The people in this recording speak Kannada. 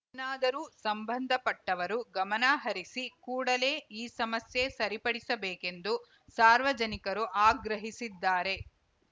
ಇನ್ನಾದರೂ ಸಂಬಂಧಪಟ್ಟವರು ಗಮನಹರಿಸಿ ಕೂಡಲೇ ಈ ಸಮಸ್ಯೆ ಸರಿಪಡಿಸಬೇಕೆಂದು ಸಾರ್ವಜನಿಕರು ಆಗ್ರಹಿಸಿದ್ದಾರೆ